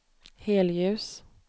helljus